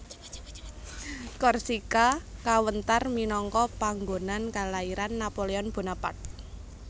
Korsika kawentar minangka panggonan kalairan Napoleon Bonaparte